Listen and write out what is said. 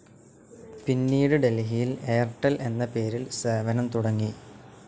പിന്നീട് ഡൽഹിയിൽ എയർടെൽ എന്ന പേരിൽ സേവനം തുടങ്ങി.